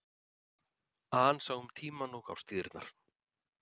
An sá um tímann og árstíðirnar.